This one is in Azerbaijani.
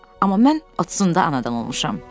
Amma mən 30-da anadan olmuşam.